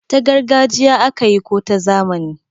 ta gargajiya aka yi ko ta zamani?